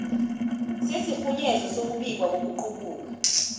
sesirhunyezo sokubikwa kokuqubuka